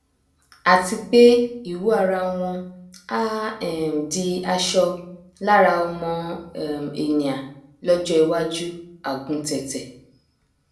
àti pé ìwù ara wọn á um di aṣọ lára ọmọ um ènìà lọjọ iwájú àguntẹtẹ